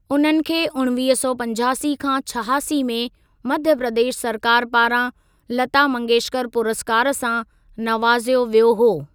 उन्हनि खे उणिवीह सौ पंजासी खां छहासी में मध्य प्रदेश सरकार पारां लता मंगेशकर पुरस्कार सां नवाज़ियो वियो हो।